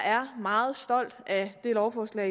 er meget stolt af det lovforslag